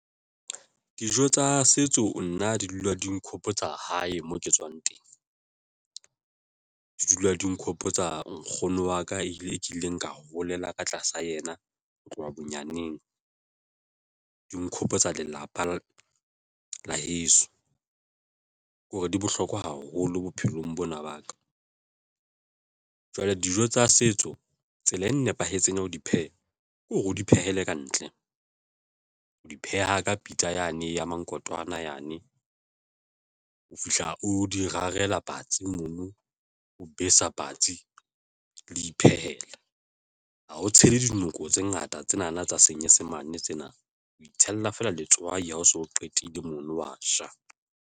Dijo tsa setso nna di dula di nghopotsa hae mo ke tswang teng, di dula di nghopotsa nkgono wa ka ile e kileng ka holela ka tlasa yena ho tloha di nghopotsa lelapa la heso ke hore di bohlokwa haholo bophelong bona ba ka jwale dijo tsa setso tsela e nepahetseng ya ho di pheha ke hore o di phehela ka ntle ho di pheha ka pitsa yane ya mankontwana yane o fihla o di rarela patsi mona o besa patsi le iphehela ha ho tshela dinoko tse ngata. Tsena na tsa Senyesemane, tsena o itshella feela letswai ha o so qetile mono wa itsholela.